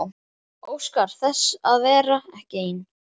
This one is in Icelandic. Óskar þess að vera ekki ein.